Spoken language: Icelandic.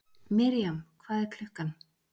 Mirjam, hvað er klukkan?